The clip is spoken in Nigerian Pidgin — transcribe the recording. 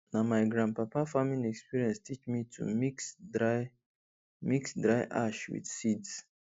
na my grandpapa farming experience teach me to mix dry mix dry ash with seeds